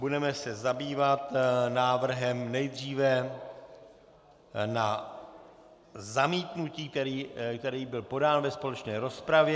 Budeme se zabývat návrhem nejdříve na zamítnutí, který byl podán ve společné rozpravě.